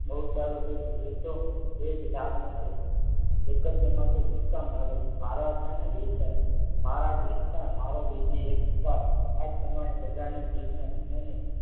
બહુ સારું કર્યું એતો એ જ લાગનો છે એક જ તમાચો શું કામ માર્યો મારવાતાં ને બે ચાર મારા દેખતા મારો બીજી એક ઝાપટ આ જ પ્રમાણે બધાની જીભને સમયને